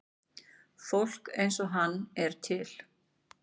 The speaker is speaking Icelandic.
Fólk eins og hann er til.